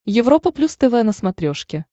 европа плюс тв на смотрешке